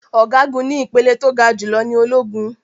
Ọ̀gágun ní ìpele tó ga jù lọ ní ológun.